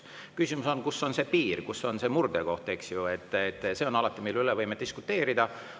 Küsimus on, kus on see piir, kus on see murdekoht, eks ju – see on alati, mille üle võime diskuteerida.